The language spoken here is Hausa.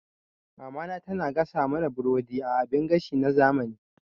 Mamana tana gasa mana burodi a abin gashi na zamani.